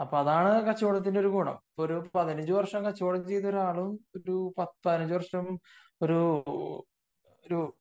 അപ്പൊ അതാണ് കച്ചവടത്തിന്റെ ഗുണം ഒരു പതിനഞ്ചു വര്ഷം കച്ചവടം ചെയ്ത ഒരാളും പതിനഞ്ചു വർഷം ഒരു